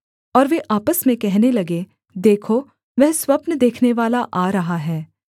और वे आपस में कहने लगे देखो वह स्वप्न देखनेवाला आ रहा है